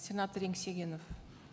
сенатор еңсегенов